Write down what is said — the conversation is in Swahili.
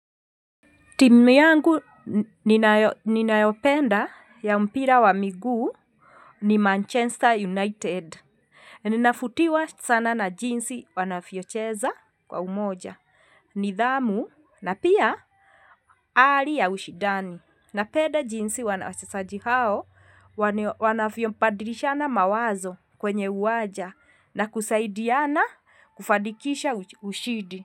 Timu yangu ninayopenda ya mpira wa miguu ni Manchester United. Ninafutiwa sana na jinsi wanavyocheza kwa umoja. Nidhamu na pia hali ya ushidani. Napenda jinsi wachezaji wanavyo badilishana mawazo kwenye uwanja na kusaidiana kufadikisha ushidi.